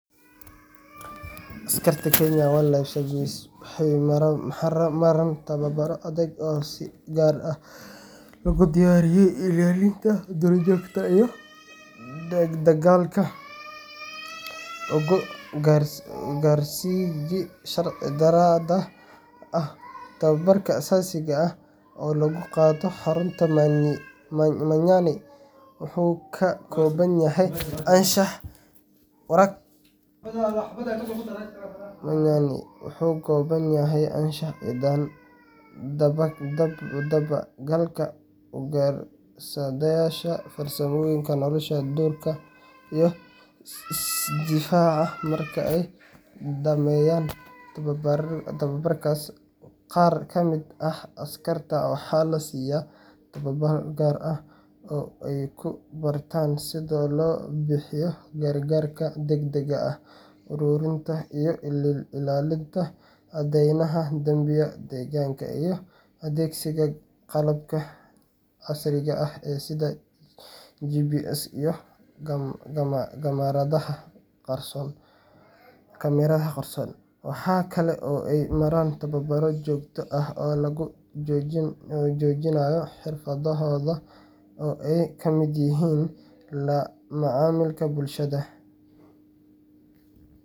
Askarta waxaa tababar si gaar ah loogu ilaaliyo duur joogta, asaasiga ah wuxuu ka kooban yahay anshax iyo daba galka ugar sayasha difaaca, markaay dameyan waxaa lasiiya, aay ku bartaan sida loo bixiyo, adeegsiga qalabka casriga, waaxaa kale aay maraan tababar joogta ah aay kamid yihiin macamulka bulshada.